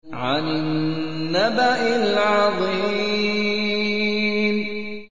عَنِ النَّبَإِ الْعَظِيمِ